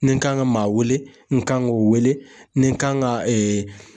Ni n kan ka maa wele , n kan k'o wele, ni n kan ka